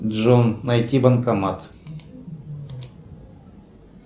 джон найти банкомат